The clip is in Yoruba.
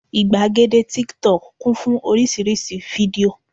ìgbàgede tíktọk kún fún oríṣiríṣi fídíò